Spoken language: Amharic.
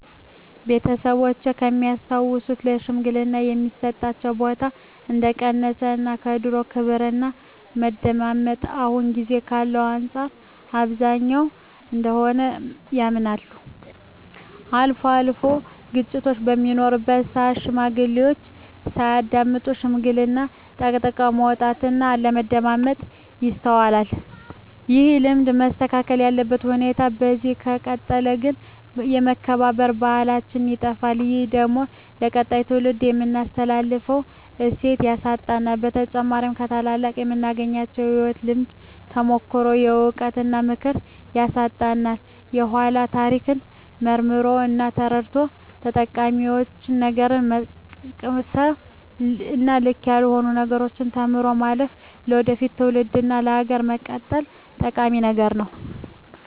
ቤተሰቦቼ ከሚያስታውሱት ለሽማግሌወች የሚሰጣቸው ቦታ እንደቀነሰ እና የድሮው ክብርና መደመጣቸው አሁን ጊዜ ካለው አንፃር እንብዛም እንደሆነ ያምናሉ። አልፎ አልፎም ግጭቶች በሚኖሩበት ስአት ሽማግሌዎችን ሳያዳምጡ ሽምግልናን ጠቅጥቆ መውጣት እና አለማዳመጥ ይስተዋላል። ይህ ልማድ መስተካከል ያለበት ሲሆን በዚህ ከቀጠለ ግን የመከባበር ባህላችን ይጠፋል። ይህ ደግሞ ለቀጣይ ትውልድ የምናስተላልፈውን እሴት ያሳጣናል። በተጨማሪም ከታላላቆቹ የምናገኘውን የህይወት ልምድ፣ ተሞክሮ፣ እውቀት እና ምክር ያሳጣናል። የኃላን ታሪክ መርምሮ እና ተረድቶ ጠቃሚውን ነገር መቅሰም እና ልክ ካልሆነው ነገር ተምሮ ማለፍ ለወደፊት ትውልድ እና ሀገር መቀጠል ጠቂሚ ነገር ነው።